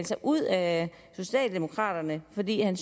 sig ud af socialdemokraterne fordi han